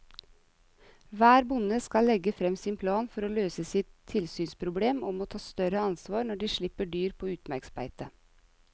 Hver bonde skal legge frem sin plan for å løse sitt tilsynsproblem og må ta større ansvar når de slipper dyr på utmarksbeite.